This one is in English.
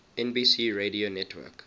nbc radio network